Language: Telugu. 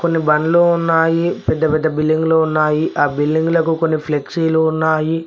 కొన్ని బండ్లు ఉన్నాయి పెద్ద పెద్ద బిల్డింగ్ లు ఉన్నాయి ఆ బిల్డింగ్ లకు కొన్ని ఫ్లెక్సీలు ఉన్నాయి.